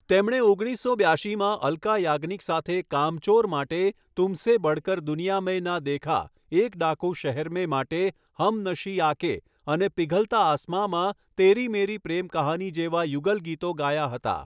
તેમણે ઓગણીસો બ્યાશીમાં અલ્કા યાજ્ઞિક સાથે 'કામચોર' માટે 'તુમ્હસે બઢકર દુનિયા મેં ના દેખા', 'એક ડાકૂ શહર મેં' માટે 'હમનશી આકે' અને 'પિઘલતા આસમાં'માં 'તેરી મેરી પ્રેમ કહાની' જેવા યુગલ ગીતો ગાયા હતા.